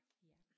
Ja